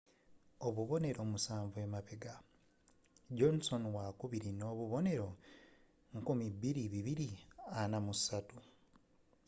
obubonero musanvu emabega johnson wakubiri nobubonero 2,243